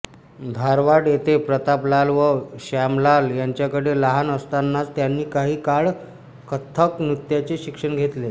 धारवाड येथे प्रतापलाल व श्यामलाल यांच्याकडे लहान असतानाच त्यांनी काही काळ कथ्थक नृत्याचे शिक्षण घेतले